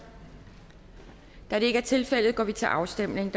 da det ikke er tilfældet går vi til afstemning